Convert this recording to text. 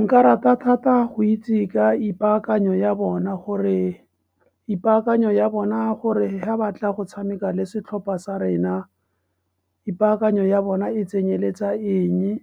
Nka rata thata go itse ka ipaakanyo ya bona, gore ipaakanyo ya bona gore ha batla go tshameka le setlhopha sa rena, ipaakanyo ya bona e tsenyeletsa eng e,